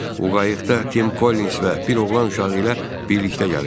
O qayıqda Tim Collins və bir oğlan uşağı ilə birlikdə gəlirdi.